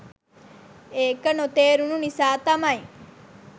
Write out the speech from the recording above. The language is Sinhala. ඒක නොතේරුණු නිසා තමයි